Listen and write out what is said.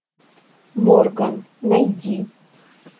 морган найди